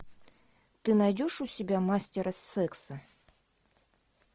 ты найдешь у себя мастера секса